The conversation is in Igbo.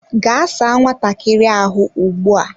Gaa saa nwatakiri ahu ugbu a!